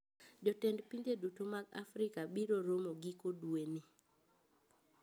Jotend pinje duto mag Africa biro romo giko dwe ni